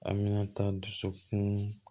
An bɛna taa dusukun